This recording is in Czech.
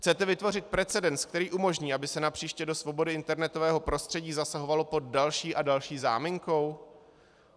Chcete vytvořit precedens, který umožní, aby se napříště do svobody internetového prostředí zasahovalo pod další a další záminkou?